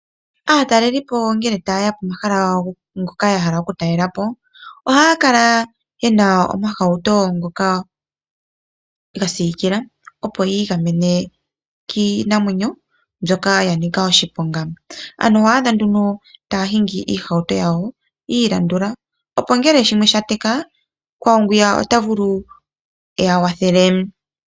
Aatalelipo ngele tayeya pomahala gawo ngoka ya hala okutalela po ohaya kala yena omahauto ngoka ga siikila opo yi igamene kiinamwenyo mbyoka yanika oshiponga. Ano oho adha nduno taya hingi iihauto yawo yi ilandula shapo ongele shimwe shateka nkwawo ngwiya ota vulu eyakwathele.